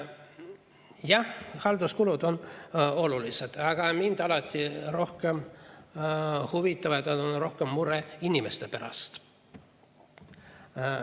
Jah, halduskulud on olulised, aga mind on alati rohkem huvitanud, mure inimeste pärast.